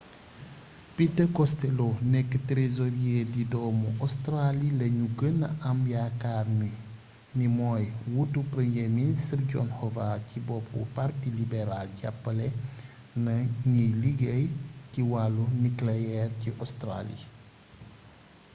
peter costello nekk trésorier di doomu australie lañu gëna am yaakaar ni mooy wuutu premier ministre john howard ci boppu parti libéral jàppale na ñiy liggéey ci wàllu nucléaire ci australie